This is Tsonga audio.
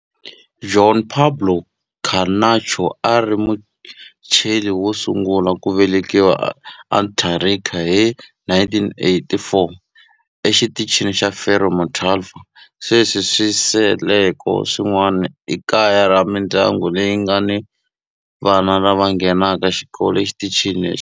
Juan Pablo Camacho a ri Muchile wo sungula ku velekiwa eAntarctica hi 1984 eXitichini xa Frei Montalva. Sweswi swisekelo swin'wana i kaya ra mindyangu leyi nga ni vana lava nghenaka xikolo exitichini lexi.